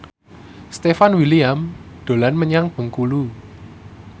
Stefan William dolan menyang Bengkulu